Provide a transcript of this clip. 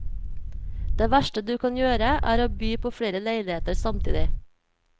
Det verste du kan gjøre, er å by på flere leiligheter samtidig.